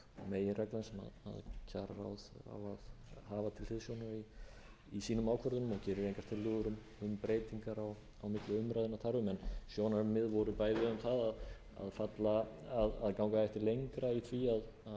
á að hafa til hliðsjónar í sínum ákvörðunum og gerir engar tillögur um breytingar á milli umræðna þar um en sjónarmið voru bæði um það að ganga ekki lengra í því að takmarka þetta við